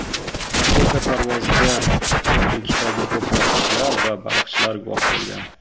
Raketa parvoziga quruqlikdagi ko‘plab kishilar va baliqchilar guvoh bo‘lgan.